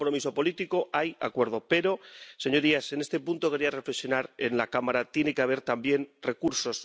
Hay compromiso político, hay acuerdo, pero, señorías, en este punto quería reflexionar en la Cámara tiene que haber también recursos.